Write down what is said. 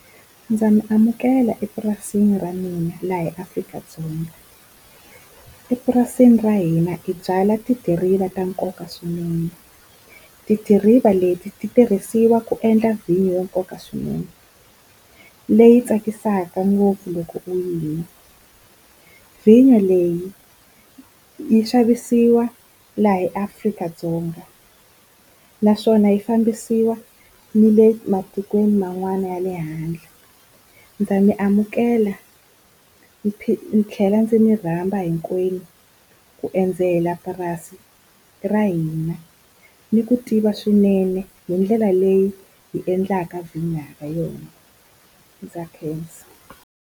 Ndza mi amukela epurasini ra mina laha eAfrika-Dzonga. Epurasini ra hina hi byala tidiriva ta nkoka swinene tidiriva leti ti tirhisiwa ku endla vhinyo ya nkoka swinene leyi tsakisaka ngopfu loko u yi nwa. Vinyo leyi yi xavisiwa laha eAfrika-Dzonga naswona yi fambisiwa ni le matikweni man'wani ya le handle. Ndza mi amukela ndzi ndzi tlhela ndzi mi rhamba hinkwenu ku endzela purasi ra hina, ni ku tiva swinene hi ndlela leyi hi endlaka vhinyo ha yona ndza khensa.